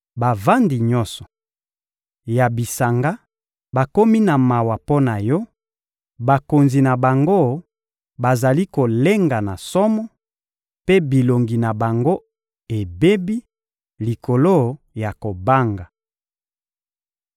Bavandi nyonso ya bisanga bakomi na mawa mpo na yo; bakonzi na bango bazali kolenga na somo, mpe bilongi na bango ebebi likolo ya kobanga.